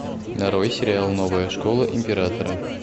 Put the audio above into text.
нарой сериал новая школа императора